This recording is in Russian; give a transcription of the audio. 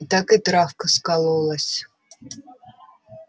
так и травка скололась